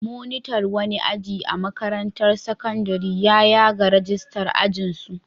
Monitan wani aji a makarantar sakandare ya yaga ragistar ajinsu.